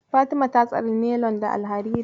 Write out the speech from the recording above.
Fatima ta tsani nelon da alhariri.